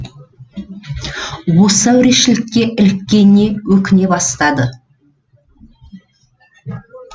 осы әурешілікке іліккеніне өкіне бастады